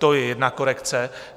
To je jedna korekce.